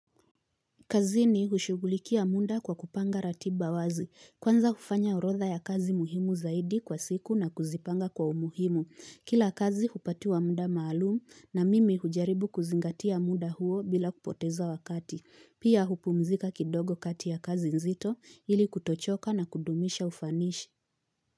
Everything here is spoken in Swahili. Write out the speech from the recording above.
Kazini hushugulikia muda kwa kupanga ratiba wazi. Kwanza hufanya orodha ya kazi muhimu zaidi kwa siku na kuzipanga kwa umuhimu. Kila kazi hupatiwa mda maalumu na mimi hujaribu kuzingatia muda huo bila kupoteza wakati. Pia hupumzika kidogo kati ya kazi nzito ili kutochoka na kudumisha ufanishi.